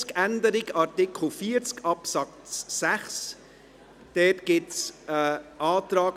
Das anrechenbare Einkommen setzt sich zusammen aus a dem steuerbaren Einkommen ohne den Abzug und b zehn Prozent des steuerbaren Vermögens.